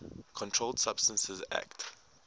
controlled substances acte